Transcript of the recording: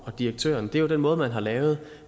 og direktøren er jo den måde man har lavet